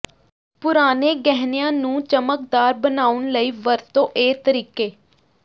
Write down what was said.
ਪੁਰਾਣੇ ਗਹਿਣਿਆਂ ਨੂੰ ਚਮਕਦਾਰ ਬਣਾਉਣ ਲਈ ਵਰਤੋ ਇਹ ਤਰੀਕੇ